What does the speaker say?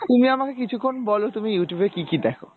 তুমি আমাকে কিছুক্ষন বলো তুমি Youtube এ কী কী দেখো?